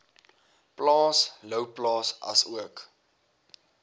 plaas louwplaas asook